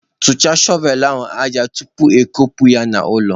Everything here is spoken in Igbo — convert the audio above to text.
Kụchaa shọvelụ ahụ aja tupu iwe kpuo ya n'ụlọ!